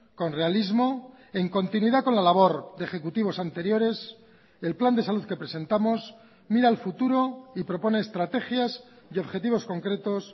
con realismo en continuidad con la labor de ejecutivos anteriores el plan de salud que presentamos mira al futuro y propone estrategias y objetivos concretos